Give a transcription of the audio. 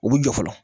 U bɛ jɔ fɔlɔ